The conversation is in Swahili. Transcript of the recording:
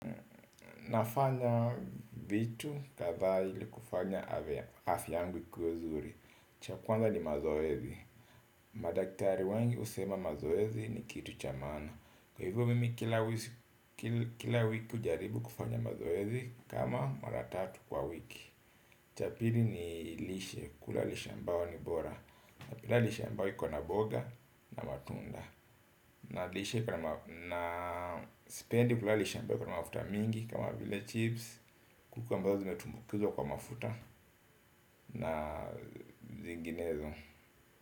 Nafanya vitu kadhaa ili kufanya afya yangu ikuwe nzuri cha kwanza ni mazoezi madaktari wengi usema mazoezi ni kitu cha maana kwa hivyo mimi kila wiki ujaribu kufanya mazoezi kama mara tatu kwa wiki cha pili ni lishe kula lishe ambayo ni bora napenda lishe ambao kwa na boga na matunda na lishe kwa na sipendi kula lishe ambayo iko na mafuta mingi kama vile chips. Kuku ambazo zimetumbukizwa kwa mafuta na zinginezo.